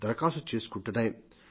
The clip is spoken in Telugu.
దరఖాస్తు చేసుకుంటున్నాయి